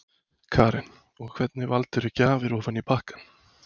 Karen: Og hvernig valdirðu gjafir ofan í pakkann?